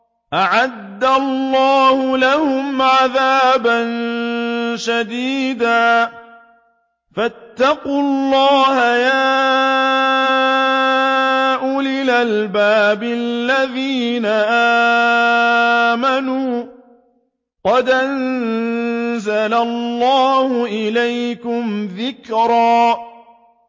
أَعَدَّ اللَّهُ لَهُمْ عَذَابًا شَدِيدًا ۖ فَاتَّقُوا اللَّهَ يَا أُولِي الْأَلْبَابِ الَّذِينَ آمَنُوا ۚ قَدْ أَنزَلَ اللَّهُ إِلَيْكُمْ ذِكْرًا